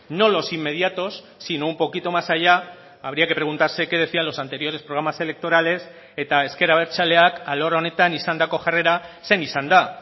no los inmediatos sino un poquito más allá habría que preguntarse que decían los anteriores programas electorales eta ezker abertzaleak alor honetan izandako jarrera zein izan da